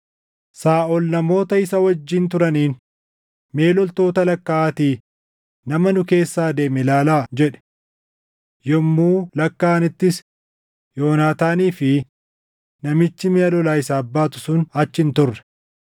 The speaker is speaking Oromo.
Saaʼol namoota isa wajjin turaniin, “Mee loltoota lakkaaʼaatii nama nu keessaa deeme ilaalaa” jedhe. Yommuu lakkaaʼanittis Yoonaataanii fi namichi miʼa lolaa isaaf baatu sun achi hin turre.